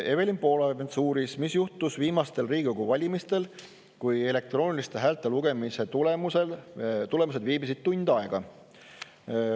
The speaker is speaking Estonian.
Evelin Poolamets uuris, mis juhtus viimastel Riigikogu valimistel, kui elektrooniliste häälte lugemise tulemused viibisid tund aega.